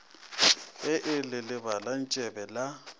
ge e le lebalantsebe la